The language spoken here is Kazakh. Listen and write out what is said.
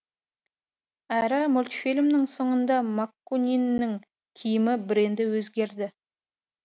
әрі мультфильмнің соңында маккуниннің киімі бренді өзгерді